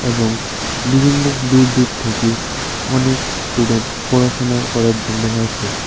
এবং বিভিন্ন দূর দূর থেকে অনেক স্টুডেন্ট পড়াশোনা করার জন্য আসে।